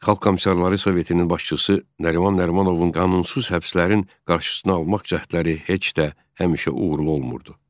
Xalq Komissarları Sovetinin başçısı Nəriman Nərimanovun qanunsuz həbslərin qarşısını almaq cəhdləri heç də həmişə uğurlu olmurdu.